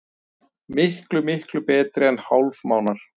Miklu, miklu betri en hálfmánar.